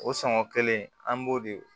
O sɔngɔ kelen an b'o de